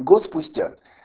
год спустя